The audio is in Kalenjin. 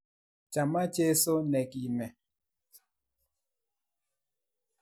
. Chama Jesu ne kime,